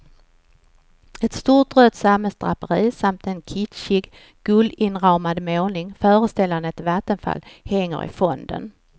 Ett stort rött sammetsdraperi samt en kitschig guldinramad målning föreställande ett vattenfall hänger i fonden.